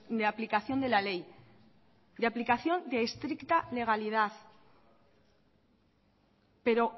de aplicación de la ley de aplicación de estricta legalidad pero